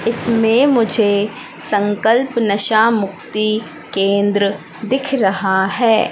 इसमें मुझे संकल्प नशा मुक्ति केंद्र दिख रहा है।